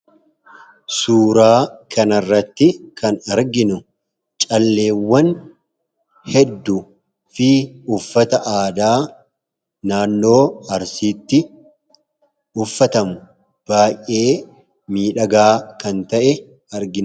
Suuraa kanarratti kan arginu calleewwan hedduu fi uffata aadaa naannoo Arsiitti uffatamu, baay'ee miidhagaa kan ta'e argina.